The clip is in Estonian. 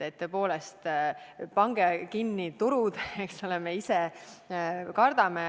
Tõepoolest, pange turud kinni, eks ole, me ise kardame.